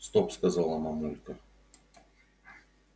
стоп сказала мамулька